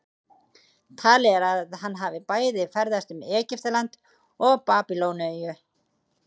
Talið er að hann hafi bæði ferðast um Egyptaland og Babýloníu.